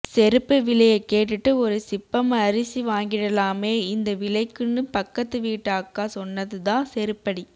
செருப்பு விலைய கேட்டுட்டு ஒரு சிப்பம் அரிசி வாங்கிடலாமே இந்த விலைக்குன்னு பக்கத்து வீட்டு அக்கா சொன்னது தான் செருப்படி